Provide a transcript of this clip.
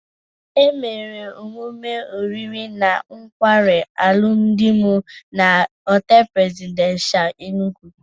Emere emụme oriri na nkwarị alụmdị m na Họteelu Presidenshal, Enugwu.